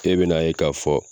E be na ye ka fɔ